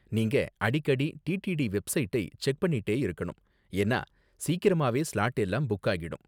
நீங்க அடிக்கடி டிடிடி வெப்சைட்டை செக் பண்ணிட்டே இருக்கணும், ஏன்னா சீக்கிரமாவே ஸ்லாட் எல்லாம் புக் ஆகிடும்.